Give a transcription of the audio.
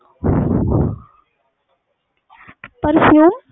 ਪਰ ਕਿਊ